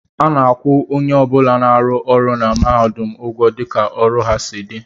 A na-akwụ onye ọ bụla na-arụ ọrụ na mahadum ụgwọ dịka ọrụ ha si dị